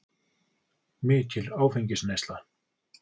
Mikil áfengisneysla.